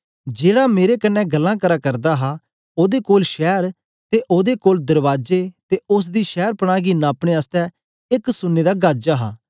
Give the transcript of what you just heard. जेड़ा मेरे कन्ने गल्लां करा करदा हा ओदे कोल शैर ते ओदे कोल दरबाजे ते उस्स दी शैरपनाह गी नापने आसतै एक सुन्ने दा गज हा